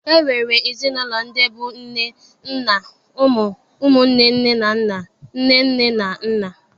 E nwere ezinaụlọ ndị bụ nne, nna, ụmụ, ụmụnne nne na nna, nne nne na nna.